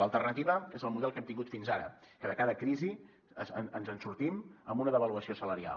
l’alternativa és el model que hem tingut fins ara que de cada crisi ens en sortim amb una devaluació salarial